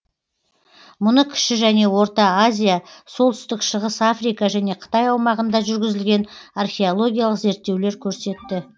мұны кіші және орта азия солтүстік шығыс африка және қытай аумағында жүргізілген археологиялық зерттеулер көрсетті